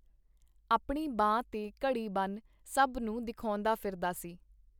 ਆਪਣੀ ਬਾਂਹ ਤੇ ਘੜੀ ਬੰਨ੍ਹ ਸਭ ਨੂੰ ਦਿਖਾਉਂਦਾ ਫਿਰਦਾ ਸੀ.